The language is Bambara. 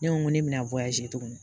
Ne ko ŋo ne be na tugun